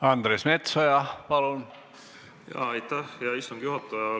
Aitäh, hea istungi juhataja!